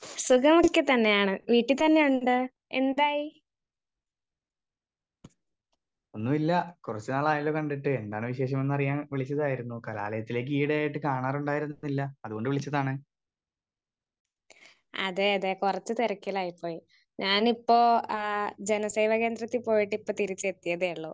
Speaker 1 സുഖം ഒക്കെ തന്നെയാണ് വീട്ടിൽ തന്നെയുണ്ട്. എന്തായി? അതെ അതെ പുറത്ത് തിരക്കിലായി പോയി. ഞാൻ ഇപ്പൊ ആഹ് ജനസേവ കേന്ദ്രത്തിൽ പോയിട്ട് ഇപ്പൊ തിരിച്ചെത്തിയതേയുള്ളൂ.